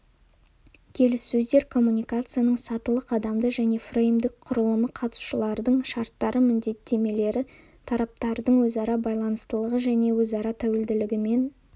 келіссөздер коммуникацияның сатылы қадамды және фреймдік құрылымы қатысушылардың шарттары міндеттемелері талаптардың өзара байланыстылығы және өзара тәуелділігімен